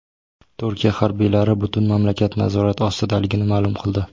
Turkiya harbiylari butun mamlakat nazorat ostidaligini ma’lum qildi.